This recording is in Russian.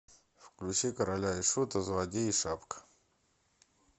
включи короля и шута злодей и шапка